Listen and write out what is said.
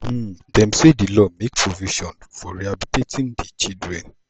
um dem say di law make provision for rehabilitating di children.